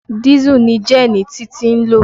Dísù ni gẹ́ẹ̀nì Títí ń lò.